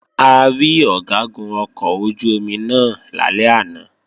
A rí Ọ̀gágun ọkọ̀ ojú-omi náà lálẹ́ àná